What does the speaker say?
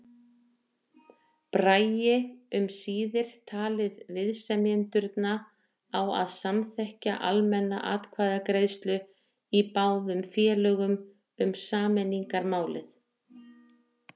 Bragi um síðir talið viðsemjendurna á að samþykkja almenna atkvæðagreiðslu í báðum félögum um sameiningarmálið.